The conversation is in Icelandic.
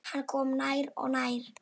Hann kom nær og nær.